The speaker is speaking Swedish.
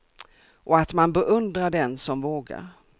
Och att man beundrar den som vågar.